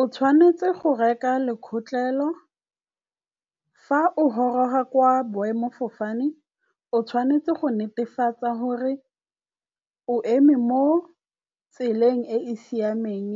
O tshwanetse go reka lekgotleolo. Fa o goroga kwa boemofofane o tshwanetse go netefatsa gore o eme mo tseleng e e siameng